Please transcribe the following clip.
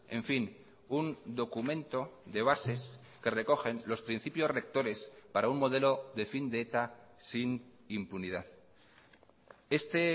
en fin un documento de bases que recogen los principios rectores para un modelo de fin de eta sin impunidad este